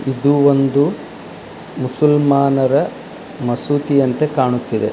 ಇದು ಒಂದು ಮುಸಲ್ಮಾನರ ಮಸೀದಿಯಂತೆ ಕಾಣುತ್ತಿದೆ.